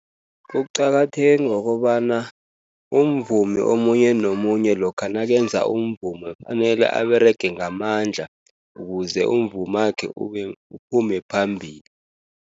Kuqakatheke ngokobana umvumi omunye nomunye lokha nakenze umvumo fanele aberege ngamandla ukuze umvumakhe uphume phambili.